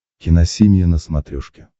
киносемья на смотрешке